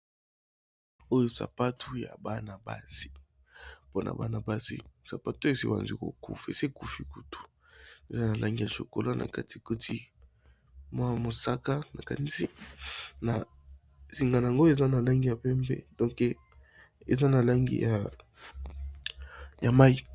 Oyo sapatu ya banabasi mpona banabasi sapato eseebandi kokufa, esekufi kutu eza na langi ya sokola na katigoti mwa mosaka na kanisi na singana yango eza na langi ya pembe donke eza na langi ya mai.